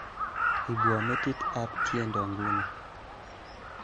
Ibwo metit ab tiendo nguni